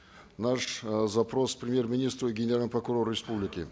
наш э запрос премьер министру и генеральному прокурору республики